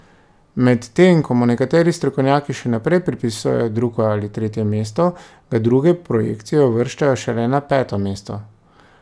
Medtem ko mu nekateri strokovnjaki še naprej pripisujejo drugo ali tretje mesto, ga druge projekcije uvrščajo šele na peto mesto.